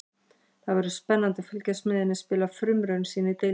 Það verður spennandi að fylgjast með henni spila frumraun sína í deildinni.